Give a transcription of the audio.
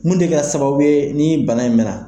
Mun bɛ kɛ sababu ye ni bana in mɛ na.